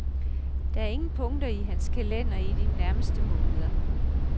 Der er ingen punkter i hans kalender i de nærmeste måneder.